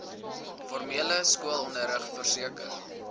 formele skoolonderrig verseker